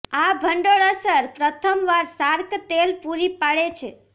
આ ભંડોળ અસર પ્રથમ વાર શાર્ક તેલ પૂરી પાડે છે